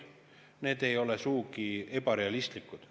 Need ei ole sugugi ebarealistlikud.